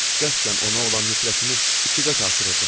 Mən qəsdən ona olan nifrətimi iki qat artırırdım.